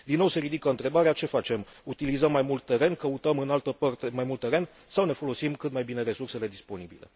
Din nou se ridică întrebarea ce facem utilizăm mai mult teren, căutăm în altă parte mai mult teren sau ne folosim cât mai bine resursele disponibile?